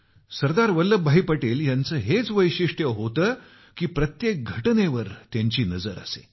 सरदार वल्लभभाई यांचं हेच वैशिष्ट्य होतं की प्रत्येक घटनेवर त्यांची नजर असे